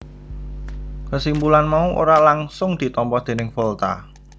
Kesimpulan mau ora langgsung ditampa déning Volta